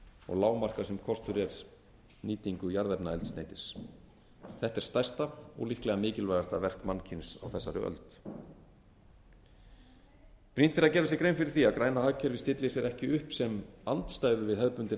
og lágmarka sem kostur er nýtingu jarðefnaeldsneytis þetta er stærsta og líklega mikilvægasta verk mannkyns á þessari öld brýnt er að gera sér grein fyrir því að græna hagkerfið stillir sér ekki upp sem andstæðu við hefðbundinn